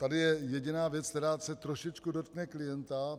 Tady je jediná věc, která se trošičku dotkne klienta.